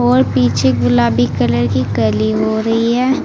और पीछे गुलाबी कलर की कली हो रही है।